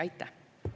Aitäh!